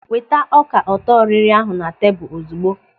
Weta ọka ọtọrịrị ahụ na tebụl ozugbo.